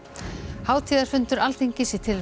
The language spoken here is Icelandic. hátíðarfundur Alþingis í tilefni